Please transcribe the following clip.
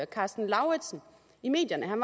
karsten lauritzen i medierne han